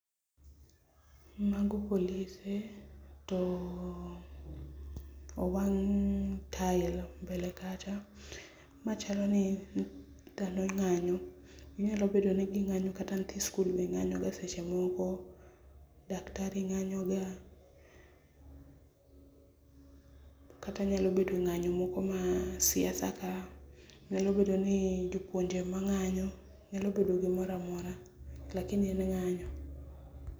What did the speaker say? Mago polise ,to owang tail mbele kacha ,ma chaloni ndalo ng'anyo, onyalo bedo ni gi ng'anyo kata nyithi sikul be ng'anyoga seche moko, daktari ng'anyoga kata nyalo bedo ng'anyo moko mag siasa ka ,nyalo bedo ni jopuonje ema ng'anyo nyalo bedo gimoro amora lakini en ng'anyo